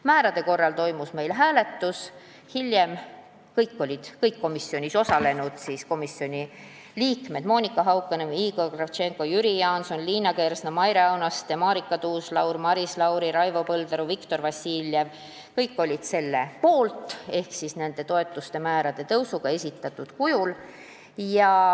Määrade kohta toimus meil hääletus, kõik istungil osalenud komisjoni liikmed – Monika Haukanõmm, Igor Kravtšenko, Jüri Jaanson, Liina Kersna, Maire Aunaste, Marika Tuus-Laul, Maris Lauri, Raivo Põldaru, Viktor Vassiljev – olid selle poolt ehk nõus toetuste määrade tõusuga esitatud kujul.